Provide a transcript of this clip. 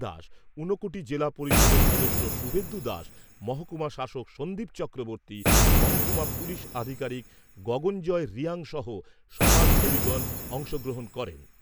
দাস, ঊনকোটি জিলা পরিষদের সদস্য শুভেন্দু দাস, মহকুমা শাসক সন্দীপ চক্রবর্তী, মহকুমা পুলিশ আধিকারিক গগনজয় রিয়াং সহ সমাজসেবীগণ অংশ গ্রহণ করেন।